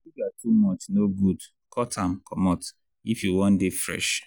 sugar too much no good cut am comot if you wan dey fresh.